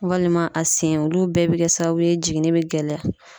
Walima a sen. Olu bɛɛ be kɛ sababu ye jiginni bɛ gɛlɛya.